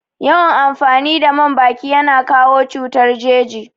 Yawan amfani da man baki yana kawo cutar jeji